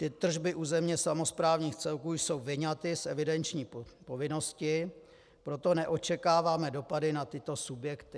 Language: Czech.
Ty tržby územně samosprávních celků jsou vyňaty z evidenční povinnosti, proto neočekáváme dopady na tyto subjekty.